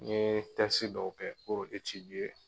N ye dɔw kɛ